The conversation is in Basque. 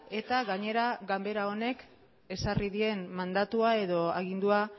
eta gainera ganbara honek ezarri dien mandatua edo agindua